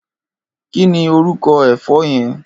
Kini órúkò èfò yèn?